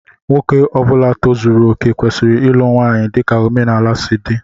Nwoke Ọbula tozuru okè kwesịrị ịlụ nwanyị dika omenala si dị.